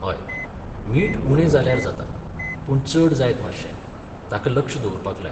हय, मीठ उणें जाल्यार जाता, पूण चड जायत मातशें. ताका लक्ष दवरपाक लाय.